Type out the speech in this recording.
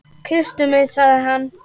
Kysstu mig sagði hann.